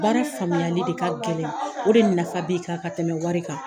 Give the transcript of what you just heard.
Baara faamuyali de k'a gɛlɛn o de nafa b'i kan ka tɛmɛ wari kan.